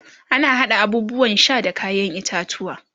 ana haɗa abubuwan Sha da kayan itatauwa